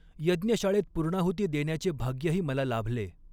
यज्ञशाळेत पूर्णाहुती देण्याचे भाग्य ही मला लाभले.